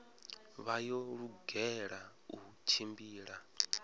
vha yo lugela u tshimbila